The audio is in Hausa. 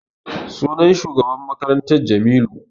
Sunan shugaban makarantar Jamilu.